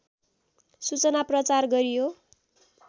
सूचना प्रचार गरियो